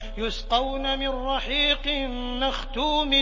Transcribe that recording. يُسْقَوْنَ مِن رَّحِيقٍ مَّخْتُومٍ